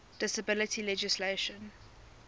disability legislation